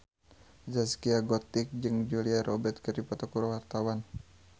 Zaskia Gotik jeung Julia Robert keur dipoto ku wartawan